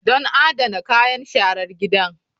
Don adana kayan sharar gida.